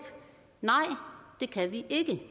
nej det kan vi ikke